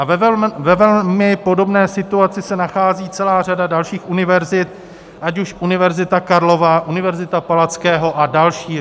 A ve velmi podobné situaci se nachází celá řada dalších univerzit, ať už Univerzita Karlova, Univerzita Palackého a další.